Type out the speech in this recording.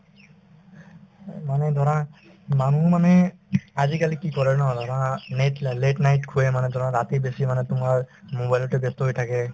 এই মানে ধৰা মানুহো মানে আজিকালি কি কৰে ন ধৰা net light late night শুয়ে মানে ধৰা ৰাতি বেছি মানে তোমাৰ mobile তে ব্যস্ত হৈ থাকে